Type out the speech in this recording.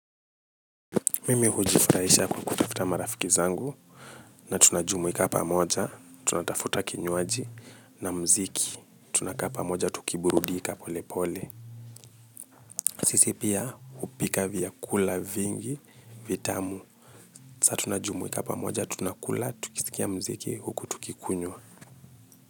Mimi hujifurahisha kwa kutafuta marafiki zangu na tunajumuika pamoja tunatafuta kinywaji na mziki tunakapa moja tukiburudika pole pole sisi pia hupika vyakula vingi vitamu sa tunajumwika pamoja tunakula tukisikia mziki huku tukikunywa.